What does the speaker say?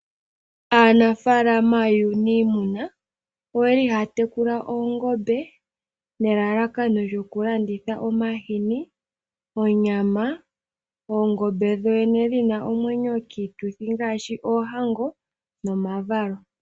Aanafaalama yuunayimuna oyeli haya tekula oongombe nelalakano lyoku landitha omahini, onyama, oongombe dho dhene shina omwenyo kiituthi ngaashi oohango nomavalo.